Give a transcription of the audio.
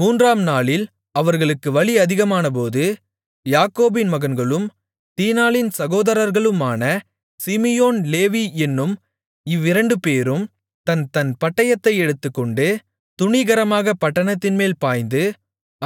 மூன்றாம் நாளில் அவர்களுக்கு வலி அதிகமானபோது யாக்கோபின் மகன்களும் தீனாளின் சகோதரர்களுமான சிமியோன் லேவி என்னும் இவ்விரண்டுபேரும் தன்தன் பட்டயத்தை எடுத்துக்கொண்டு துணிகரமாகப் பட்டணத்தின்மேல் பாய்ந்து